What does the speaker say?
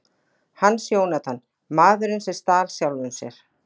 Hans Jónatan: Maðurinn sem stal sjálfum sér.